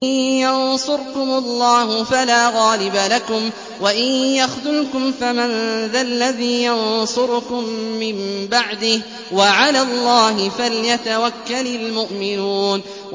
إِن يَنصُرْكُمُ اللَّهُ فَلَا غَالِبَ لَكُمْ ۖ وَإِن يَخْذُلْكُمْ فَمَن ذَا الَّذِي يَنصُرُكُم مِّن بَعْدِهِ ۗ وَعَلَى اللَّهِ فَلْيَتَوَكَّلِ الْمُؤْمِنُونَ